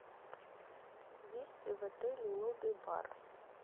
есть ли в отеле лобби бар